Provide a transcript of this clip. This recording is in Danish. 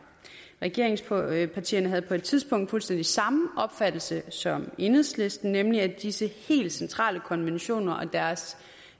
regeringspartierne havde på et tidspunkt fuldstændig samme opfattelse som enhedslisten nemlig at disse helt centrale konventioner og deres